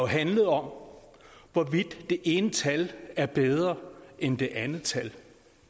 handlet om hvorvidt det ene tal er bedre end det andet tal